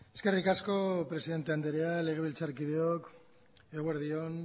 eskerrik asko presidente anderea legebiltzarkideok eguerdi on